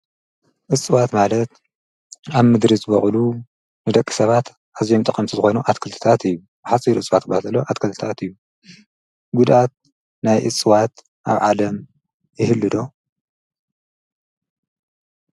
እሥዋት ማለት ኣብ ምድሪ ዝበቕሉ ንደቂ ሰባት ሕዚምጠቐምስትኾይኑ ኣትክልትታት እዩ። ሓፂኢሩ ሥዋት ባተሎ ኣትከልትታኣት እዩ ጕዳት ናይ እሥዋት ኣብ ዓለም ይህልዶ?